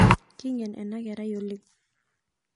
Keingen ana kerai oleng